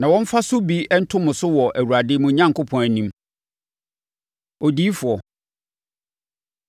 Na wɔmmfa so bi nto mo so wɔ Awurade, mo Onyankopɔn, anim. Odiyifoɔ